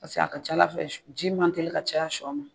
a ka ca ALA fɛ ji man teli ka caya siyɔa ma.